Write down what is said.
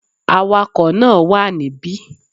Awakò náà wà níbí